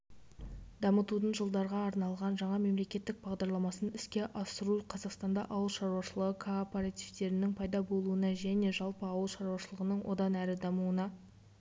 дамытудың жылдарға арналған жаңа мемлекеттік бағдарламасын іске асыру қазақстанда ауыл шаруашылығы кооперативтерінің пайда болуына және жалпы ауыл шаруашылығының одан әрі дамуына